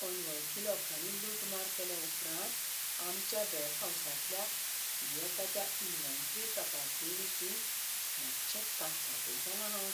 अनवळखी लोकांनी लुटमार केले उपरांत आमच्या वेरहाउसांतल्या येता त्या इन्व्हेंटरी तपासणेविशीं मातशें काचाबूल जालां हांव.